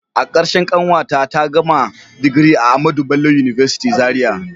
A karshe kanwata ta gama digiri a AHMADU BELLO UNIVERSITY Zaria.